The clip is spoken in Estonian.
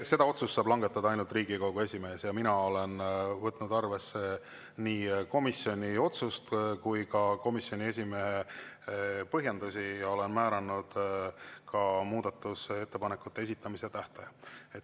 Selle otsuse saab langetada ainult Riigikogu esimees ja mina olen võtnud arvesse nii komisjoni otsust kui ka komisjoni esimehe põhjendusi ja olen määranud ka muudatusettepanekute esitamise tähtaja.